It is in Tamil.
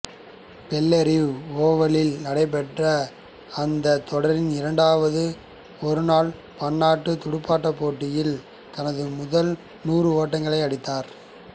பெல்லரிவ் ஓவலில் நடைபெற்ற அந்தத் தொடரின் இரண்டாவது ஒருநாள் பன்னாட்டுத் துடுப்பாட்டப் போட்டியில் தனது முதல் நூறு ஓட்டங்களை அடித்தார்